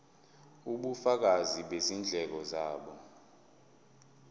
ubufakazi bezindleko zabo